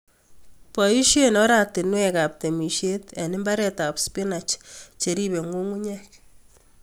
Boisien oratinwekab temisiet en mbaretab spinach cheribe ng'ung'unyek.